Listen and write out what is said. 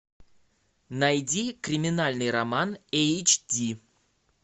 найди криминальный роман эйч ди